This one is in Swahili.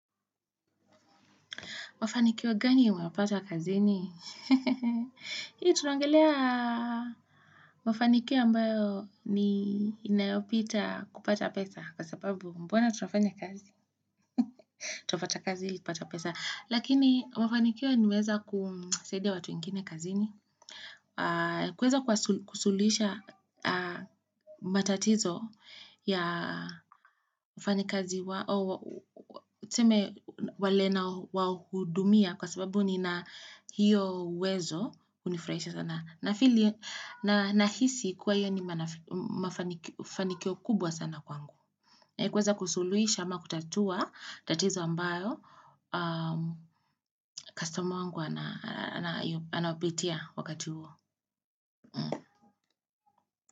Mafanikio gani unayopata kazini? Hii tunaongelea mafanikio ambayo ni inayopita kupata pesa. Kwa sababu mbona tunafanya kazi. Twafwata kazi ili kupata pesa. Lakini mafanikio nimeweza kusaidia watu wengine kazini. Kuweza kusuluhisha matatizo ya wafanyikazi Tuseme wale nawahudumia kwa sababu ni na hiyo uwezo hunifurahisha sana. Nahisi kuwa hiyo ni mafanikio kubwa sana kwangu. Kuweza kusuluhisha ama kutatua tatizo ambayo kustoma wangu anapitia wakati huo.